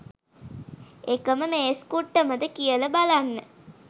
එකම මේස් කුට්ටමද කියල බලන්න